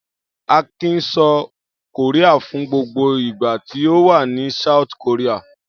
Akin sọ Korea fún gbogbo ìgbà tí ó wà ní South Korea.